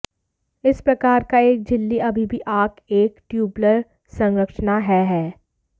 इस प्रकार का एक झिल्ली अभी भी आंख एक ट्यूबलर संरचना है है